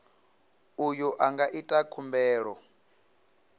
uyo a nga ita khumbelo